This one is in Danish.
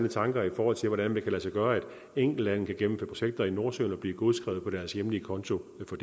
tanker i forhold til hvordan det kan lade sig gøre at enkeltlande kan gennemføre projekter i nordsøen og blive godskrevet på deres hjemlige konto for